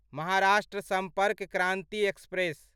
Maharashtra Sampark Kranti express